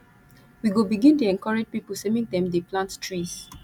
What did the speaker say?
we go begin dey encourage pipo sey make dem dey plant trees